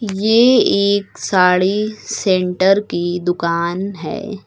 ये एक साड़ी सेंटर की दुकान है।